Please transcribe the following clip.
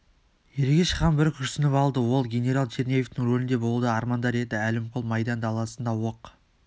ергеш хан бір күрсініп алды ол генерал черняевтің рөлінде болуды армандар еді әлімқұл майдан даласында оқ